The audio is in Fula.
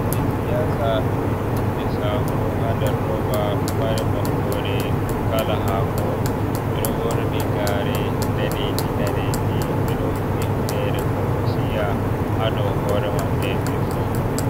Himɓe siyasa ɗo jogi hunde saho ha nder roba ɗo mari maɓɓode kala hako e ɗo ɓorni gare daneji, daneji ɓeɗo humni hunere konkosiya ha do hore mabbe be fu.